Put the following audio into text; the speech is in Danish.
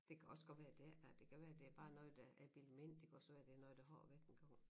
Det kan også godt være der ikke er det kan være det er bare noget der er bildet mig ind det kan også være det noget der har været engang